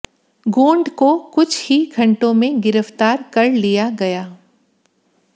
गोंड को कुछ ही घंटों में गिरफ्तार कर लिया गया